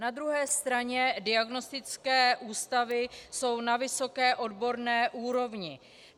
Na druhé straně diagnostické ústavy jsou na vysoké odborné úrovni.